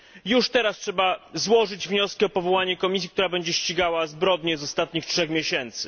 Już teraz trzeba złożyć wnioski o powołanie komisji, która będzie ścigała zbrodnie z ostatnich trzech miesięcy.